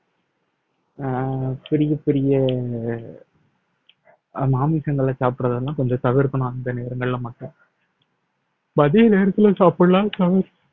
அஹ் பெரிய பெரிய அஹ் மாமிசங்களை சாப்பிடறதெல்லாம் கொஞ்சம் தவிர்க்கணும் அந்த நேரங்கள்ல மட்டும் மதிய நேரத்துல சாப்பிடலாம்